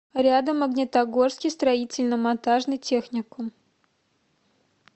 рядом магнитогорский строительно монтажный техникум